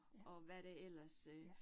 Ja. Ja